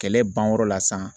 Kɛlɛ banyɔrɔ la sisan